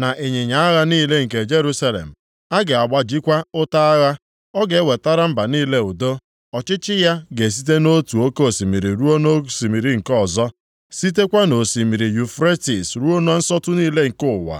na ịnyịnya agha niile nke Jerusalem; a ga-agbajikwa ụta agha. Ọ ga-ewetara mba niile udo, ọchịchị ya ga-esite nʼotu oke osimiri ruo nʼosimiri nke ọzọ, sitekwa nʼOsimiri Yufretis ruo na nsọtụ niile nke ụwa.